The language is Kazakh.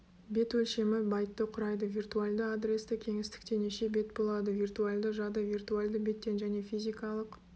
бет өлшемі байтты құрайды виртуальды адресті кеңістікте неше бет болады виртуальды жады виртуальды беттен және физикалық